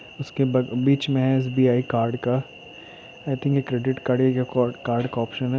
इसके ब बीच में एस_बी_आई कार्ड का आई थिंक यह क्रेडिट कार्ड या कोर्ट कार्ड का ऑप्शन है।